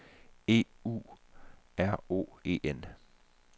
E U R O E N